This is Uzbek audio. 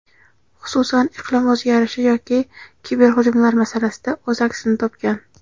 xususan iqlim o‘zgarishi yoki kiberhujumlar masalasida o‘z aksini topgan.